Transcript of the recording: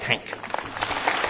Vielen Dank, Herr